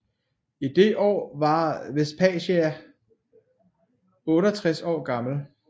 I det år var Vespasian 68 år gammel